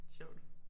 Sjovt